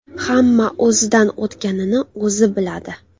Hamma o‘zidan o‘tganini o‘zi biladi.